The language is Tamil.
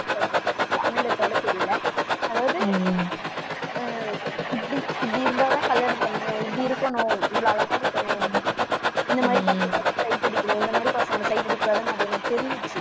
தமிழ்ல சொல்ல தெரியலே. அதாவது உம் அஹ் இப்படி இருந்தாதான் கல்யாணம் பண்ணுவேன் இப்படி இருக்கணும் இவ்வளவு அழகா இருக்கணும். இந்த மாதிரி பசங்களை sight அடிக்கணும் இந்த மாதிரி பசங்களை sight அடிக்கக்கூடாதுன்னு அது எனக்கு தெரிஞ்சிடுச்சு.